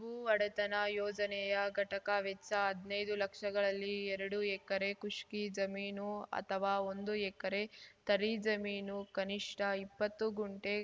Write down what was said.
ಭೂ ಒಡೆತನ ಯೋಜನೆಯ ಘಟಕ ವೆಚ್ಚ ಹದ್ನೈದು ಲಕ್ಷಗಳಲ್ಲಿ ಎರಡು ಎಕರೆ ಖುಷ್ಕಿ ಜಮೀನು ಅಥವಾ ಒಂದು ಎಕರೆ ತರಿ ಜಮೀನು ಕನಿಷ್ಠ ಇಪ್ಪತ್ತು ಗುಂಟೆ